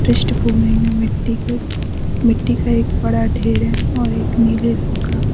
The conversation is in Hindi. पृष्ठभूमि में मिट्टी के मिट्टी का एक बड़ा ढेर है और एक नीले रंग का --